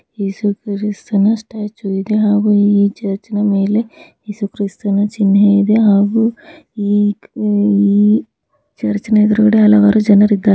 ಯೇಸು ಕ್ರಿಸ್ತನ ಸ್ಟ್ಯಾಚು ಇದೆ ಚರ್ಚ್